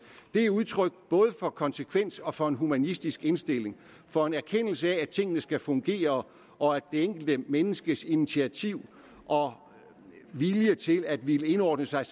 det er udtryk både for konsekvens og for en humanistisk indstilling og for en erkendelse af at tingene skal fungere og at det enkelte menneskes initiativ og vilje til at ville indordne sig